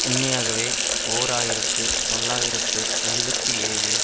உண்மையாகவே ஓர் ஆயிரத்து தொள்ளாயிரத்து எழுபத்தி ஏழு